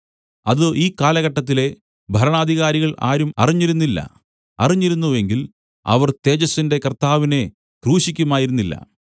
അത് ഈ കാലഘട്ടത്തിലെ ഭരണാധികാരികൾ ആരും അറിഞ്ഞിരുന്നില്ല അറിഞ്ഞിരുന്നു എങ്കിൽ അവർ തേജസ്സിന്റെ കർത്താവിനെ ക്രൂശിക്കുമായിരുന്നില്ല